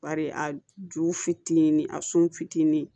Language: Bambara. Bari a ju fitinin a sun fitini